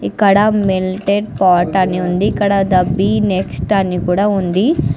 ఇక్కడ melted pot అని ఉంది ఇక్కడ బి ద నెక్స్ట్ అని కూడా ఉంది.